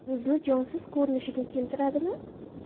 Yuzni jonsiz ko‘rinishga keltiradimi?